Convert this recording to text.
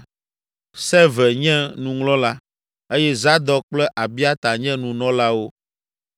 Seve nye nuŋlɔla eye Zadok kple Abiata nye nunɔlawo.